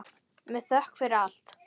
Með þökk fyrir allt.